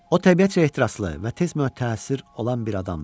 O təbiətcə ehtiraslı və tez müətəssir olan bir adam idi.